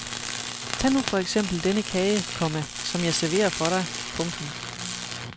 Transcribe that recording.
Tag nu for eksempel denne kage, komma som jeg serverer for dig. punktum